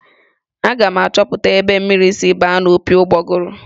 Aga m achọpụta ebe mmiri siri baa n'opi ụgbọgọrọ.